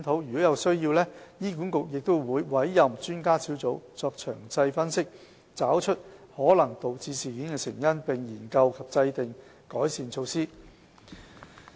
如有需要，醫管局會委任專家小組作詳細分析，以找出可能導致事件的成因，並研究及制訂改善措施。